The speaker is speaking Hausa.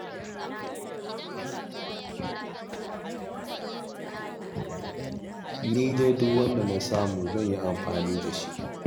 Ni dai duk wanda na samu zan yi amfani da shi.